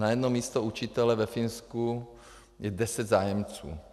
Na jedno místo učitele ve Finsku je deset zájemců.